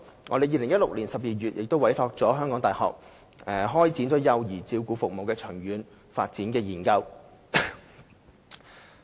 我們在2016年12月委託香港大學開展幼兒照顧服務研究。